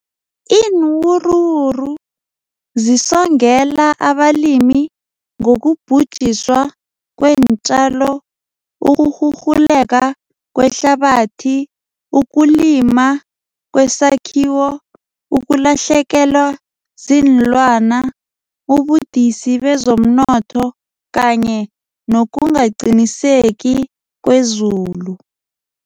Iinwuruwuru zisongela abalimi ngokubhujiswa kweentjalo, ukurhurhuleka kwehlabathi, ukulima kwesakhiwo, ukulahlekelwa ziinlwana, ubudisi bezomnotho kanye nokungaqiniseki kwezulu.